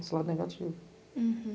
Esse lado negativo. Hurum.